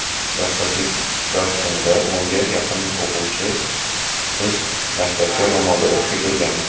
dastlabki dars kunida o‘nga yaqin o‘quvchi qiz maktabga ro‘molda o‘qishga kelgan.